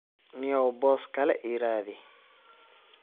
Nio boss kale iiradix.